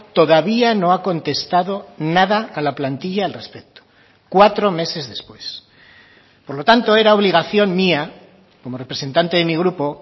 todavía no ha contestado nada a la plantilla al respecto cuatro meses después por lo tanto era obligación mía como representante de mi grupo